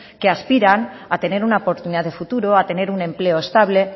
que aspiran a tener una oportunidad de futuro a tener un empleo estable